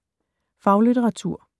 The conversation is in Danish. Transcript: Faglitteratur